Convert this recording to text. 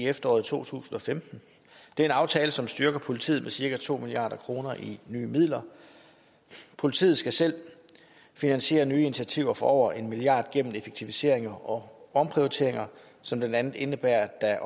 i efteråret to tusind og femten det er en aftale som styrker politiet med cirka to milliard kroner i nye midler politiet skal selv finansiere nye initiativer for over en milliard gennem effektiviseringer og omprioriteringer som blandt andet indebærer at